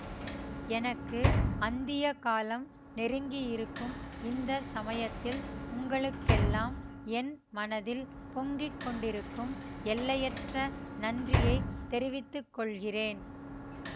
எனக்கு அந்திய காலம் நெருங்கியிருக்கும் இந்த சமயத்தில் உங்களுக்கெல்லாம் என் மனத்தில் பொங்கி கொண்டிருக்கும் எல்லையற்ற நன்றியை தெரிவித்து கொள்கிறேன்